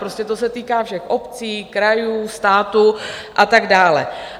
Prostě to se týká všech obcí, krajů, státu a tak dále.